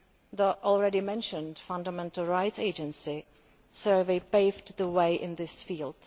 The already mentioned Fundamental Rights Agency survey paved the way in this field.